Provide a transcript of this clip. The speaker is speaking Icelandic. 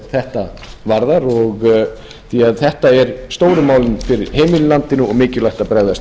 þetta varðar því að þetta eru stóru málin fyrir heimilin í landinu og mikilvægt að bregðast